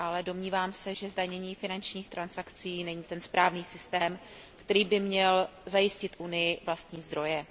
Ale domnívám se, že zdanění finančních transakcí není ten správný systém, který by měl zajistit Unii vlastní zdroje.